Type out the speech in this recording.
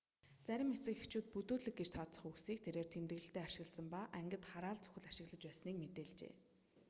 зарим эцэг эхчүүд бүдүүлэг гэж тооцох үгсийг тэрээр тэмдэглэлдээ ашигласан ба ангид хараал зүхэл ашиглаж байсныг мэдээлжээ